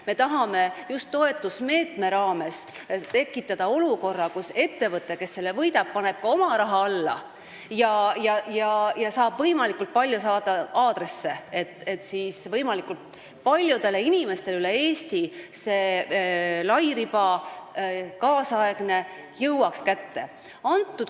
Me tahame just toetusmeetme raames tekitada olukorra, kus ettevõte, kes konkursi võidab, paneb ka oma raha sinna alla ja saab võimalikult palju aadresse, et siis võimalikult paljudele inimestele üle Eesti see tänapäevane lairiba koju kätte viia.